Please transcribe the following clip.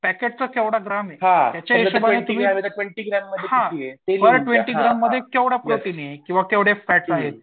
पॅकेटचा जेवढा ग्राम आहे त्याच्या हिशोबाने हां पर ट्वेन्टी ग्राम मध्ये केवढं आहे किंवा केवढे फॅट आहे?